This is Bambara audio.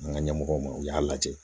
An ka ɲɛmɔgɔw ma u y'a lajɛ